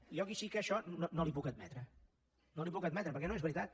i jo aquí sí que això no li ho puc admetre no li ho puc admetre perquè no és veritat